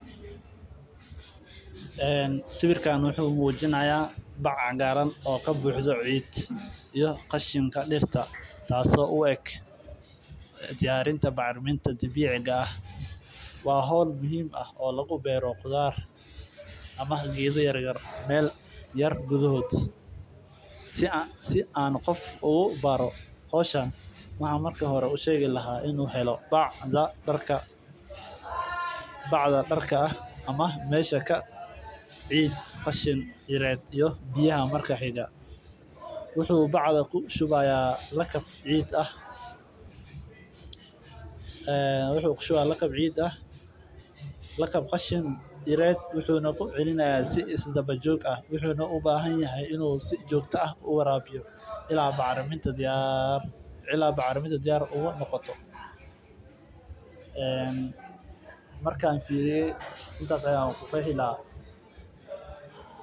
Sawirka wuxuu mujinaaya bac cagaaran oo kabuxdo ciid iyo qashinka dirta oo diyarinta bacraminta dabiiciga ah waa howl lagu abuur dirta waa qasab inuu helo bacda darka ah iyo ciid wuxuu kushubayaa ciid wuxuuna ku celinaayan si isdaba joog ah ilaa bacraminta diyaar ka noqoto markaan fiiriye intaas ayaan ku koobi lahaa.